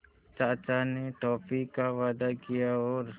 चाचा ने टॉफ़ी का वादा किया और